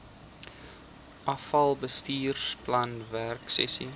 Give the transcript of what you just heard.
afal bestuursplan werksessies